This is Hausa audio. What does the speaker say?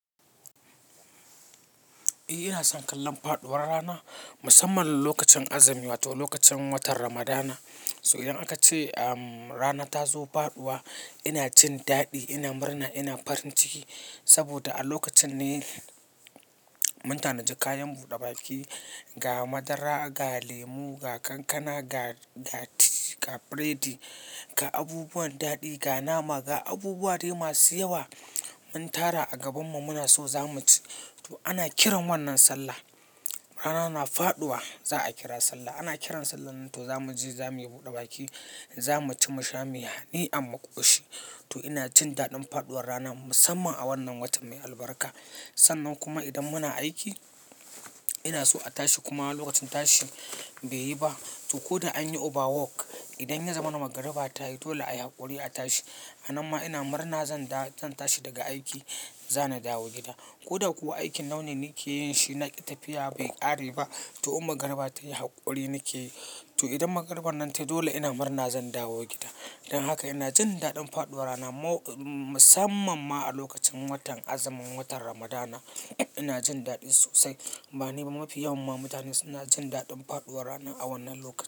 Eh ina son kallon faɗuwar rana, musamman lokacin azumi wato lokacin watan Ramadana. So idan aka ce rana ta zo faɗuwa ina cin daɗi, ina murna, ina farin ciki. Saboda a lokacin ne mutane sukayi buɗe baki, ga madara, ga lemu, ga kankana, ga ga ti, ga biredi, ga abubuwan daɗi, ga nama, ga abubuwa dai masu yawa mun tara a gabanmu muna so zamu ci. To ana kiran wannan sallah. Rana tana faɗuwa za a kira sallah. Ana kiran sallar nan to zamu je zamu yi buɗe baki, zamu ci mu sha muyi hani amma ƙushi. To ina jin daɗin faɗuwar rana musamman a wannan watan mai albarka. Sannan kuma idan muna aiki ina so a tashi kuma lokacin tashi bai yi ba, to ko da an yi overwork, idan ya zama nan magariba ta yi dole ayi haƙuri a tashi. Hanan ma ina murna zan da zan tashi daga aiki, zan na dawo gida. Ko da kuwa aikin launin nake yin shi na tafiya bai ƙare ba, to um magariba ta yi haƙuri nake yi. To idan magariban nan ta yi dole ina murna zan dawo gida. Dan haka ina jin daɗin faɗuwar rana ma musamaman ma a lokacin azumin watan Ramadana ina jin daɗi sosai. Ba ni ba mafi yawan mu mutane suna jin daɗin faɗuwar rana a wannan lokaci.